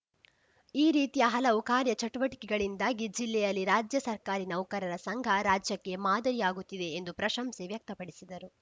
ಈ ರೀತಿಯ ಹಲವು ಕಾರ್ಯ ಚಟುವಟಿಕೆಗಳಿಂದಾಗಿ ಜಿಲ್ಲೆಯಲ್ಲಿ ರಾಜ್ಯ ಸರ್ಕಾರಿ ನೌಕರರ ಸಂಘ ರಾಜ್ಯಕ್ಕೆ ಮಾದರಿ ಆಗುತ್ತಿದೆ ಎಂದು ಪ್ರಶಂಸೆ ವ್ಯಕ್ತಪಡಿಸಿದರು